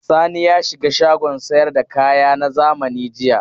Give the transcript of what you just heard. Sani ya shiga shagon sayar da kaya na zamani jiya.